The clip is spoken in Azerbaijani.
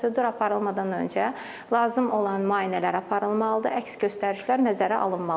Prosedur aparılmadan öncə lazım olan müayinələr aparılmalıdır, əks göstərişlər nəzərə alınmalıdır.